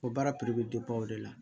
O baara bɛ o de la